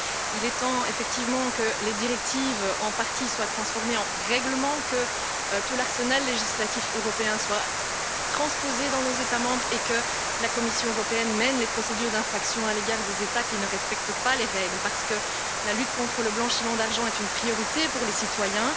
Et donc, il est temps effectivement que les directives soient en partie transformées en règlements, que tout l'arsenal législatif européen soit transposé dans nos États membres et que la Commission européenne mène les procédures d'infraction à l'égard des États qui ne respectent pas les règles, parce que la lutte contre le blanchiment d'argent est une priorité pour les citoyens.